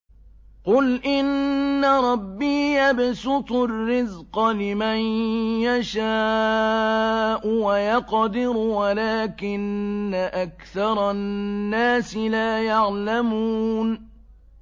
قُلْ إِنَّ رَبِّي يَبْسُطُ الرِّزْقَ لِمَن يَشَاءُ وَيَقْدِرُ وَلَٰكِنَّ أَكْثَرَ النَّاسِ لَا يَعْلَمُونَ